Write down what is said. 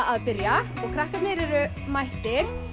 að byrja og krakkarnir eru mættir